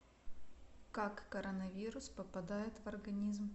как коронавирус попадает в организм